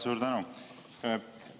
Suur tänu!